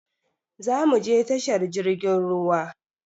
Zo muje tashar jirgin ruwa.